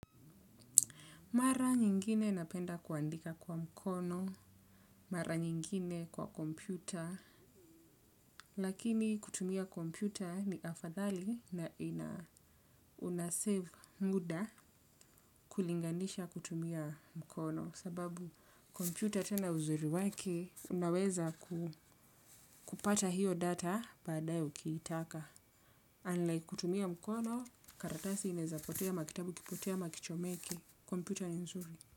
Mara nyingine napenda kuandika kwa mkono, mara nyingine kwa kompyuta, lakini kutumia kompyuta ni afadhali na una save muda kulinganisha kutumia mkono kwa sababu kompyuta tena uzuri wake unaweza kupata io data baadae ukiitaka unlike kutumia mkono karatasi inaezapotea ama kitabu kipotee ama kichomeke, kompyuta ni nzuri.